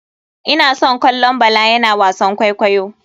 Ina son kallon bala yana wasan kwaikwayo.